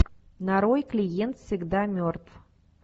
нарой клиент всегда мертв